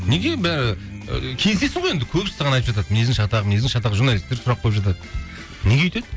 неге і келісесің ғой енді көбісі саған айтып жатады мінезің шатақ мінезің шатақ журналисттер сұрақ қойып жатады неге өйтеді